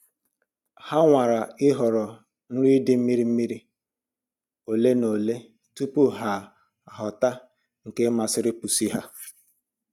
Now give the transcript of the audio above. Ha nwara ịhọrọ nri dị mmiri mmiri ole na ole tupu ha achọta nke masiri pusi ha